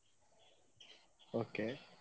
Okay.